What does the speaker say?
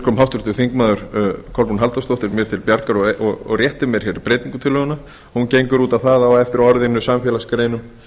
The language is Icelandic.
kom háttvirtir þingmenn kolbrún halldórsdóttir mér til bjargar og rétti mér hér breytingartillöguna hún gengur út á að á eftir orðinu samfélagsgreinum